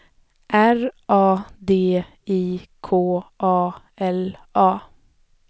R A D I K A L A